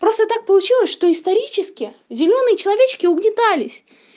просто так получилось что исторически зелёные человечки угнетались